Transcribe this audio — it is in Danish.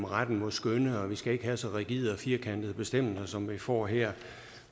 retten må skønne og at vi ikke skal have så rigide og firkantede bestemmelser som vi får her